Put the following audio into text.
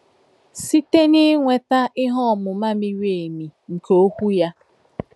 Site n'inweta ihe um ọmụma miri emi nke Okwu ya.